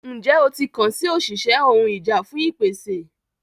Njẹ o ti kan si oṣiṣẹ ohun ìjà fun ìpèsè?